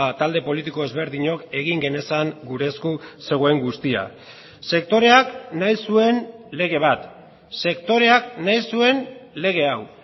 talde politiko ezberdinok egin genezan gure esku zegoen guztia sektoreak nahi zuen lege bat sektoreak nahi zuen lege hau